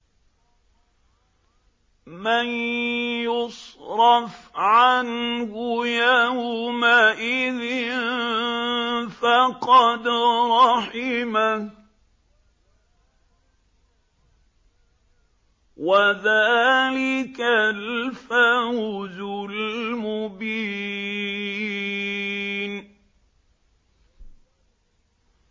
مَّن يُصْرَفْ عَنْهُ يَوْمَئِذٍ فَقَدْ رَحِمَهُ ۚ وَذَٰلِكَ الْفَوْزُ الْمُبِينُ